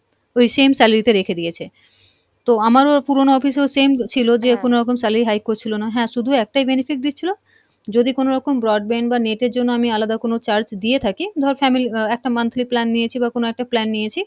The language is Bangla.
ওই same salary তে রেখে দিয়েছে, তো আমারও পুরনো office এও same ছিলো যে কোনোরকম salary high করছিলো না, হ্যাঁ শুধু একটাই benefit দিচ্ছিল যদি কোনোরকম broadband বা net এর জন্য আমি আলাদা কোনো charge দিয়ে থাকি ধর family আহ একটা monthly plan নিয়েছি বা কোনো একটা plan নিয়েছি,